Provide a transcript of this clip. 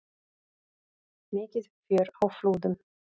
Mikið fjör á Flúðum